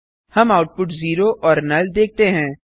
हम output zero और null देखते हैं